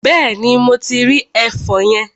Bẹ́ẹ̀ni, mo ti rí ẹfọn yẹn.